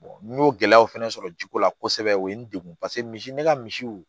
n y'o gɛlɛyaw fɛnɛ sɔrɔ ji ko la kosɛbɛ o ye n degun paseke misi ne ka misiw